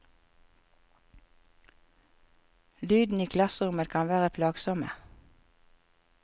Lydene i klasserommet kan være plagsomme.